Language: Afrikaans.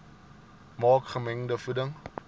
maak gemengde voeding